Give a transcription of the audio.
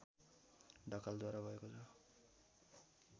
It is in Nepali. ढकालद्वारा भएको छ